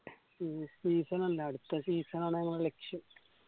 ഈ season അല്ല അടുത്ത season ആണ് ഞങ്ങളെ ലക്ഷ്യം